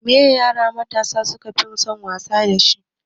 Me ye yara mata su kafi son wasa dashi?